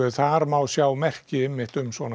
þar má sjá merki um svona